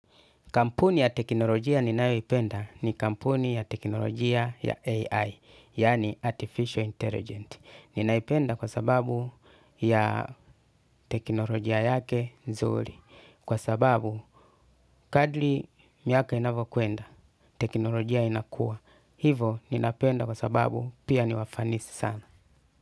Kampuni ya teknolojia ninayoipenda ni kampuni ya teknolojia ya AI, yaani Artificial Intelligent. Ninaipenda kwa sababu ya teknolojia yake nzuri. Kwa sababu kadri miaka inavyokwenda, teknolojia inakua. Hivo ninapenda kwa sababu pia niwafanisi sana.